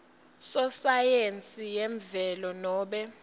sosayensi yemvelo nobe